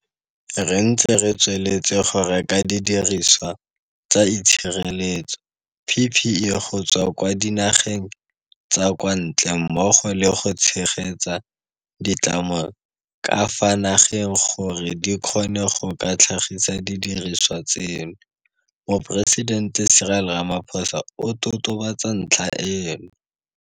Re ntse re tsweletse go reka didiriswa tsa itshireletso PPE go tswa kwa dinageng tsa kwa ntle mmogo le go tshegetsa ditlamo tsa ka fa nageng gore di kgone go ka tlhagisa didirisiwa tseno, Moporesitente Cyril Ramaphosa o totobatsa ntlha eno.